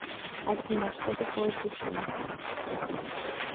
афина что такое тесей